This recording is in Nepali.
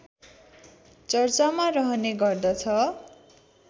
चर्चामा रहने गर्दछ